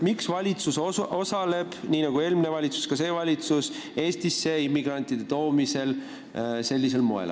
Miks osaleb ka see valitsus nii nagu eelmine valitsus sellisel moel Eestisse immigrantide toomises?